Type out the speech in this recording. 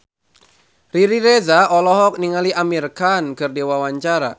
Riri Reza olohok ningali Amir Khan keur diwawancara